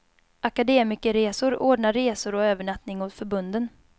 Akademikerresor ordnar resor och övernattning åt förbunden.